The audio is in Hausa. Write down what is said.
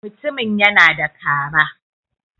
mutumin yana da Kara